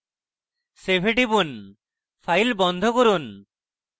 save এ টিপুন file বন্ধ করুন